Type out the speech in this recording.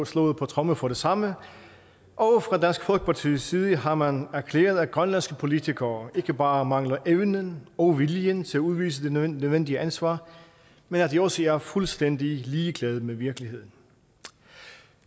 slået på tromme for det samme og fra dansk folkepartis side har man erklæret at grønlandske politikere ikke bare mangler evnen og viljen til at udvise det nødvendige ansvar men at de også er fuldstændig ligeglade med virkeligheden